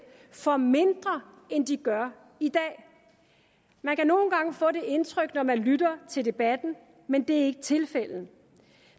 får mindre end de gør i dag man kan nogle gange få det indtryk når man lytter til debatten men det er ikke tilfældet